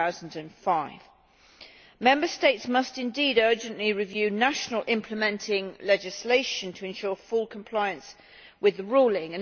2005. Member States must indeed urgently review national implementing legislation to ensure full compliance with the ruling.